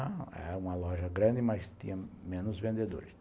Era uma loja grande, mas tinha menos vendedores.